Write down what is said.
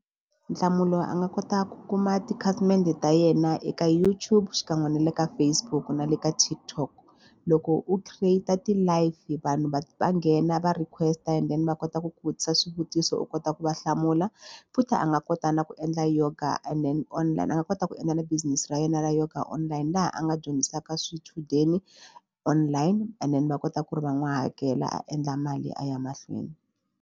Nhlamulo a nga kota ku kuma tikhasimende ta yena eka YouTube xikan'we na le ka Facebook na le ka TikTok. Loko u create ti-live vanhu va va nghena va request-a and then va kota ku ku vutisa swivutiso u kota ku va hlamula futhi a nga kota na ku endla yoga and then online a nga kota ku endla na business ra yena ra yoga online laha a nga dyondzisaka swichudeni online and then va kota ku ri va n'wi hakela a endla mali a ya mahlweni.